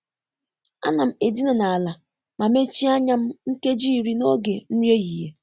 A nam edina n’ala ma mechie anya m nkeji iri n’oge nri ehihie.